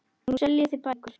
Nú seljið þið bækur.